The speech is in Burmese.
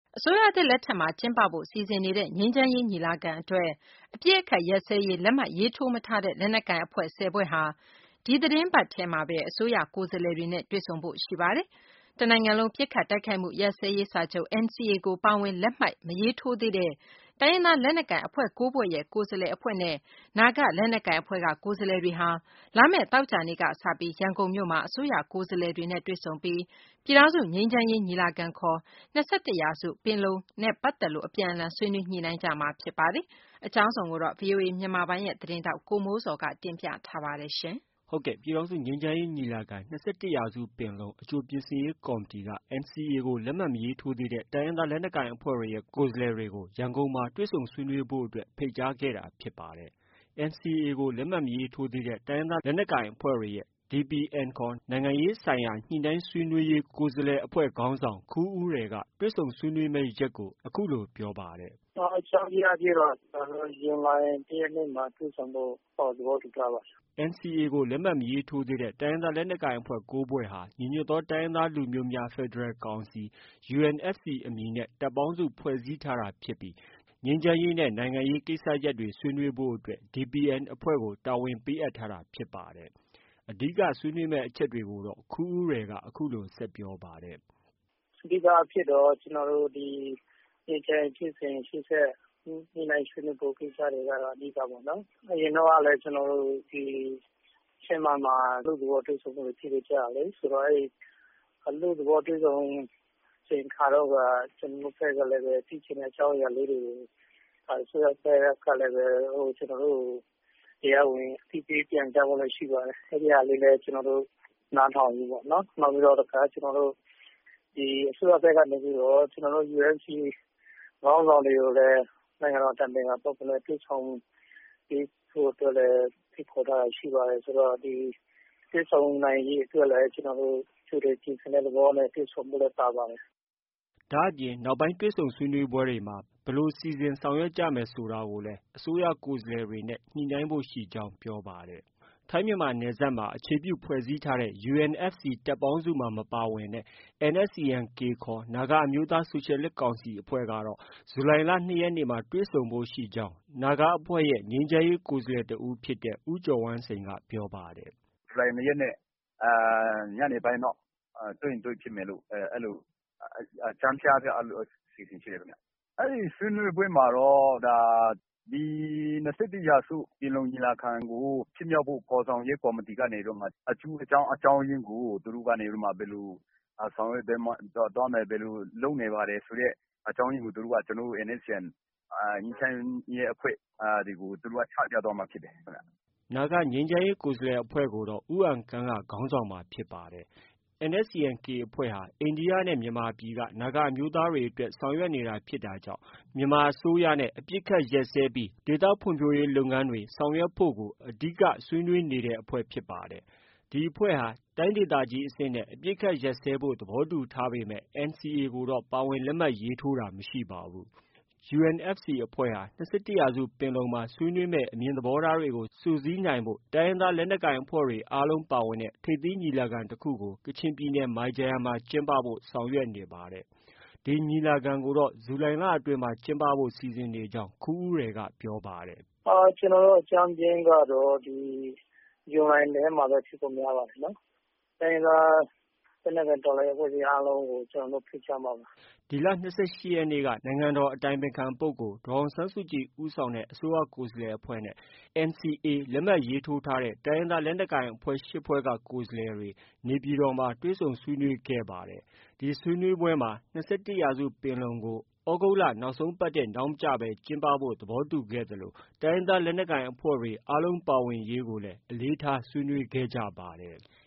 အစိုးရသစ်လက်ထက်မှာ ကျင်းပဖို့ စီစဉ်နေတဲ့ ငြိမ်းချမ်းရေး ညီလာခံအတွက် အပစ်အခတ်ရပ်စဲရေး လက်မှတ်ရေးထိုး မထားတဲ့ လက်နက်ကိုင်အဖွဲ့ ၁၀ ဖွဲ့ဟာ ဒီသီတင်းပတ်ထဲမှာပဲ အစိုးရကိုယ်စားလှယ်တွေနဲ့ တွေ့ဆုံဖို့ ရှိနေပါတယ်။ တနိုင်ငံလုံး ပစ်ခတ်တိုက်ခိုက်မှု ရပ်စဲရေးစာချုပ် NCA ကို ပါဝင်လက်မှတ်မရေးထိုးသေးတဲ့ တိုင်းရင်းသား လက်နက်ကိုင်အဖွဲ့ ၉ဖွဲရဲ့ ကိုယ်စားလှယ်အဖွဲ့ နဲ့ နာဂလက်နက်ကိုင် အဖွဲ့က ကိုယ်စားလှယ်တွေဟာ လာမယ့်သောကြာနေ့ကစပြီး ရန်ကုန်မြို့မှာ အစိုးရ ကိုယ်စားလှယ်တွေနဲ့ တွေ့ဆုံပြီး ပြည်ထောင်စု ငြိမ်းချမ်းရေးညီလာခံ (ခေါ်) ၂၁ ရာစုပင်လုံနဲ့ ပတ်သက်လို့ အပြန်အလှန်ဆွေးနွေး ညှိနှိုင်းကြမှာဖြစ်ပါတယ်။ အကြောင်းစုံကိုတော့ ဗွီအိုအေမြန်မာပိုင်း သတင်းထောက် ကိုမိုးဇော်က တင်ပြထားပါတယ်။ ပြည်ထောင်စုငြိမ်းချမ်းရေး ညီလာခံ-၂၁ရာစုပင်လုံအကြိုပြင်ဆင်ရေးကော်မတီ NCA ကို လက်မှတ်မရေးထိုးသေးတဲ့ တိုင်းရင်းသားလက်နက်ကိုင်အဖွဲ့တွေရဲ့ ကိုယ်စားလှယ်အဖွဲ့ကို ရန်ကုန်မှာ တွေ့ဆုံဆွေးနွေးဖို့အတွက် ဖိတ်ကြားခဲ့တာဖြစ်ပါတယ်။ NCA ကို လက်မှတ်မရေးထိုးသေးတဲ့ တိုင်းရင်းသားလက်နက်ကိုင်အဖွဲ့တွေရဲ့ DPN ခေါ် နိုင်ငံရေးဆိုင်ရာ ညှိနှိုင်းဆွေးနွေးရေးကိုယ်စားလှယ်အဖွဲ့ခေါင်းဆောင် ခူးဦးရယ်က တွေ့ဆုံဆွေးနွေးမယ့်ရက်ကို အခုလို ပြောပါတယ်။ “အကြမ်းဖျင်းအားဖြင့်တော့ ကျနော်တို့ဇူလိုင်လ ၁ ရက်နေ့တွေ့ဖို့ သဘောတူထားပါတယ်။” NCA ကို လက်မှတ်မရေးထိုးသေးတဲ့ တိုင်းရင်းသားလက်နက်ကိုင်အဖွဲ့ ၉ဖွဲ့ဟာ ညီညွတ်သောတိုင်းရင်းသားလူမျိုးများ ဖက်ဒရယ်ကောင်စီ UNFC အမည်နဲ့ တပ်ပေါင်းစု ဖွဲ့စည်းထားတာဖြစ်ပြီး ငြိမ်းချမ်းရေးနဲ့ နိုင်ငံရေးကိစ္စရပ်တွေ ဆွေးနွေးဖို့အတွက် DPN အဖွဲ့တာဝန်ပေးအပ်ထားတာဖြစ်ပါတယ်။ အဓိက ဆွေးနွေးဖြစ်မယ့်အချက်တွေကိုတော့ ခူးဦးရယ်က အခုလို ဆက်ပြောပါတယ်။ “အဓိကအားဖြင့်တော့ ကျနော်တို့ ဒီငြိမ်းချမ်းရေးဖြစ်စဉ်ရှေ့ဆက် ညှိနှိုင်းဆွေးနွေးကိစ္စတွေလုပ်ဖို့ကတော့ အဓိကပေါ့နော်။ အရင်တုန်းကလည်း ကျနော်တို့ဒီ ချင်းမိုင်မှာ အလွတ်သဘောတွေ့ဆုံမှုတွေလုပ်ခဲ့ကြတာလေ။ အလွတ်သဘောတွေ့ဆုံတဲ့အချိန်အခါတုန်းက ကျနော်တို့ဘက်ကလည်း ဖြစ်ချင်တဲ့အကြောင်းအရာလေးတွေကို အစိုးရဘက်ကလည်း ကျနော်တို့ကို တရားဝင် အသိပေးပြန်ကြားဖို့အတွက် ရှိပါတယ်။ အဲဒီဟာတွေလည်း ကျနော်တို့ နားထောင်ရင်းပေါ့နော်၊ နောက်ပြီးတော့ အစိုးရဘက်ကနေပြီးတော့ ကျနော်တို့ UNFC ခေါင်းဆောင်တွေကိုလည်း နိုင်ငံတော်အတိုင်ပင်ခံပုဂ္ဂိုလ်နဲ့ တွေ့ဆုံပေးဖို့အတွက်လည်း ဖိတ်ခေါ်ထားတာရှိပါတယ်။ ဆိုတော့ ဒီ တွေ့ဆုံနိုင်ရေးအတွက်လည်း ကျနော်တို့ ကြိုတင်ပြင်ဆင်တဲ့သဘောနဲ့ တွေ့ဆုံဖို့လည်းပါပါတယ်။” ဒါ့အပြင် နောက်ပိုင်းတွေ့ဆုံဆွေးနွေးပွဲတွေမှာ ဘယ်လိုစီစဉ်ဆောင်ရွက်ကြမယ်ဆိုတာကိုလည်း အစိုးရကိုယ်စားလှယ်တွေနဲ့ ညှိနှိုင်းဖို့ရှိကြောင်း ပြောပါတယ်။ ထိုင်း-မြန်မာနယ်စပ်ကို အခြေပြုဖွဲ့စည်းထားတဲ့ UNFC တပ်ပေါင်းစုမှာ မပါဝင်တဲ့ NSCN-K ခေါ် နာဂအမျိုးသားဆိုရှယ်လစ်ကောင်စီ အဖွဲ့နဲ့ကတော့ ဇူလိုင်လ ၂ရက်နေ့မှာတွေ့ဆုံဖို့ရှိကြောင်း နာဂအဖွဲ့ရဲ့ ငြိမ်းချမ်းရေးအဖွဲ့ကိုယ်စားလှယ်တဦးဖြစ်တဲ့ ဦးကျော်ဝမ်းစိန်က ပြောပါတယ်။ “ဇူလိုင်လ ၂ ရက်နေ့ညနေပိုင်းလောက်တွေ့ဖြစ်မယ်လို့တော့ အကြမ်းဖျင်းအားဖြင့် အဲဒီလိုအစီအစဉ်ရှိတယ်ခင်ဗျ။ အဲဒီဆွေးနွေးပွဲမှာတော့ ၂၁ ရာစုပင်လုံညီလာခံကို ဖြစ်မြောက်ဖို့ ဖော်ဆောင်ရေးကော်မတီကနေပြီးတော့မှ အကျိုးအကြောင်းအရင်းကို သူတို့ကနေပြီးတော့မှ ဘယ်လိုဆောင်ရွက်သွားမယ်၊ ဘယ်လိုလုပ်နေပါတယ်ဆိုတဲ့ အကြောင်းအရင်းကို ကျနော်တို့ NSCN ငြိမ်းချမ်းရေးအဖွဲ့ တွေကို ချပြသွားမှာဖြစ်ပါတယ်။” နာဂငြိမ်းချမ်းရေးကိုယ်စားလှယ်အဖွဲ့ကိုတော့ ဦးအန်ကန့်က ဦးဆောင်မှာဖြစ်ပါတယ်။ NSCN-K အဖွဲ့ဟာ အိန္ဒိယနဲ့ မြန်မာပြည်က နာဂအမျိုးသားတွေအတွက် ဆောင်ရွက်နေတာဖြစ်တာကြောင့် မြန်မာအစိုးရနဲ့ အပစ်အခတ်ရပ်စဲပြီး ဒေသဖွံ့ဖြိုးရေးလုပ်ငန်းတွေဆောင်ရွက်ဖို့ အဓိက ဆောင်ရွက်နေတာဖြစ်ပါတယ်။ ဒီအဖွဲ့ဟာ တိုင်းဒေသကြီးအဆင့်နဲ့ အပစ်အခတ်ရပ်စဲရေးသဘောတူထားပေမဲ့ NCA ကိုတော့ ပါဝင်လက်မှတ်ရေးထိုးတာမရှိပါဘူး။ UNFC အဖွဲ့ဟာ ၂၁ရာစုပင်လုံမှာ ဆွေးနွေးမယ့် အမြင်သဘောထားတွေကို စုစည်းနိုင်ဖို့အတွက် တိုင်းရင်းသားလက်နက်ကိုင်အဖွဲ့တွေ အားလုံးပါဝင်တဲ့ ထိပ်သီးညီလာခံ တခုကို ကချင်ပြည်နယ် မိုင်ဂျာယန်မှာ ကျင်းပဖို့ ဆောင်ရွက်နေပါတယ်။ ဒီညီလာခံကိုတော့ ဇူလိုင်လအတွင်းမှာ ကျင်းပဖို့ စီစဉ်နေကြောင်း ခူးဦးရယ်က အခုလို ပြောပါတယ်။ “ကျနော်တို့အကြမ်းဖျင်းကတော့ ဇူလိုင်ထဲမှာပဲ ဖြစ်ဖို့များပါတယ်။ လက်နက်ကိုင်တော်လှန်ရေး အဖွဲ့အားလုံးကို ကျနော်တို့ ဖိတ်ကြားမှာပါ။” ဒီလ ၂၈ရက်နေ့က နိုင်ငံတေ်ာ အတိုင်ပင်ခံပုဂ္ဂိုလ် ဒေါ်အောင်ဆန်းစုကြည် ဦးဆောင်တဲ့ ကိုယ်စားလှယ်အဖွဲ့နဲ့ NCA လက်မှတ်ရေးထိုးထားတဲံ တိုင်းရင်းသားလက်နက်ကိုင်အဖွဲ့ ၈ဖွဲ့က ကိုယ်စားလှယ်တွေ နေပြည်တော် မှာ တွေ့ဆုံဆွေးနွေး ခဲ့ကြရာမှာ ၂၁ရာစုပင်လုံကို သြဂုတ်လနောက်ဆုံး ပတ်ထက် နောက်မကျဘဲ ကျင်းပဖို့ သဘောတူခဲ့ကြသလို တိုင်းရင်းသားလက်နက်ကိုင်အဖွဲ့တွေ အားလုံးပါဝင်ရေးကိုလည်း အလေးထား ဆွေးနွေးခဲ့ကြပါတယ်။